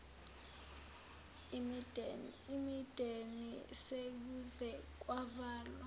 imideni sekuze kwavalwa